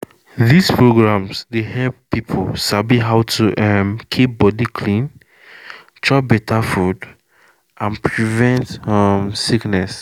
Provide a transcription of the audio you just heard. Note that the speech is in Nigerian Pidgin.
these programs dey help people sabi how to um keep body clean chop better food and prevent um sickness